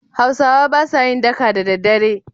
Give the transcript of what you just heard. Hausawa ba sa yin daka da daddare.